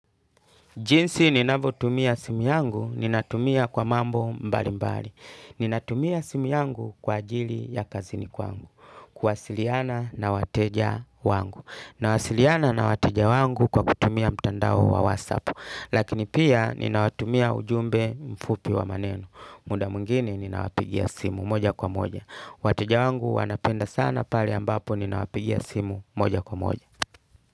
Jinsi ninavyotumia simu yangu ninatumia kwa mambo mbali mbali. Ninatumia simu yangu kwa ajili ya kazini kwangu. Kuwasiliana na wateja wangu. Nawasiliana na wateja wangu kwa kutumia mtandao wa whatsapp. Lakini pia ninawatumia ujumbe mfupi wa maneno. Muda mwingine ninawapigia simu moja kwa moja. Wateja wangu wanapenda sana pale ambapo ninawapigia simu moja kwa moja.